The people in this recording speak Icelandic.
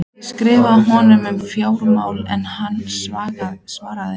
Ég skrifaði honum um fjármálin en hann svaraði engu.